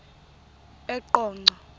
eqonco